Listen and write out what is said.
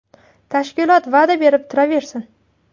Tashkilot va’da berib turaversin.